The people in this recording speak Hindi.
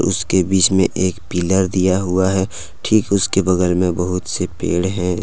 उसके बीच में एक पिलर दिया हुआ है ठीक उसके बगल में बहुत से पेड़ हैं।